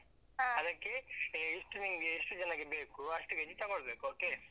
ಅದಕ್ಕೆ ಎಷ್ಟು ನಿಂಗೆ ಎಷ್ಟು ಜನಕ್ಕೆ ಬೇಕು ಅಷ್ಟು KG ತಕೊಳ್ಬೇಕು okay .